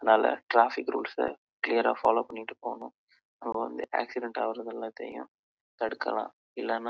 அது நாலா traffic rules எலாம் பாத்து போகணும் அப்போ தான் அச்சிடேன்ட் அகரத்தை தடுக்கலாம்